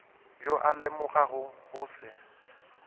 yo a lemogago go se